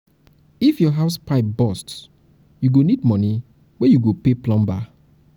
if your house pipe burst pipe burst you go need moni wey you go pay plumber.